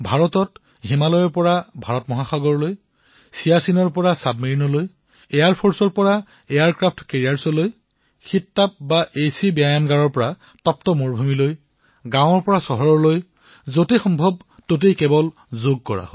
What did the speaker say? ভাৰতত হিমালয়ৰ পৰা হিন্দু মহাসাগৰলৈ চিয়াছিনৰ পৰা ছাবমেৰিনলৈ এয়াৰফৰ্চৰ পৰা এয়াৰক্ৰাফ্ট কেৰিয়াৰলৈ এচি জিমৰ পৰা উত্তপ্ত মৰুভূমিলৈ গাঁৱৰ পৰা চহৰলৈ যতেই সম্ভৱ এনেকুৱা কোনো স্থান নাই যত যোগ কৰা নাই